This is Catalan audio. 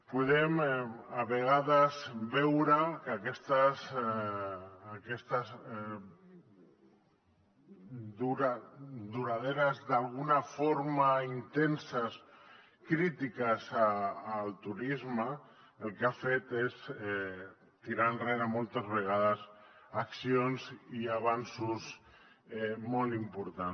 podem a vegades veure que aquestes duradores d’alguna forma intenses crítiques al turisme el que han fet és tirar enrere moltes vegades accions i avanços molt importants